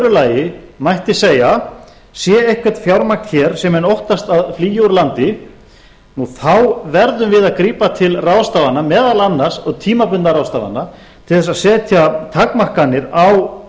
lagi mætti segja sé eitthvað fjármagn hér sem menn óttast að flýi úr landi þá verðum við að grípa til ráðstafana og tímabundinna ráðstafana til þess að setja takmarkanir á